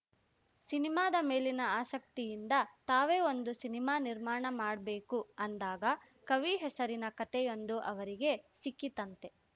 ಸಿನಿಮಾದ ಮೇಲಿನ ಆಸಕ್ತಿಯಿಂದ ತಾವೇ ಒಂದು ಸಿನಿಮಾ ನಿರ್ಮಾಣ ಮಾಡ್ಬೇಕು ಅಂದಾಗ ಕವಿ ಹೆಸರಿನ ಕತೆಯೊಂದು ಅವರಿಗೆ ಸಿಕ್ಕಿತ್ತಂತೆ